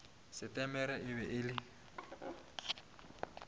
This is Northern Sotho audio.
setemere e be e le